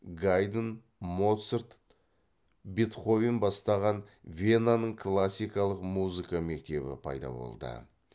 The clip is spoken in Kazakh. гайдн моцарт бетховен бастаған венаның классикалық музыка мектебі пайда болды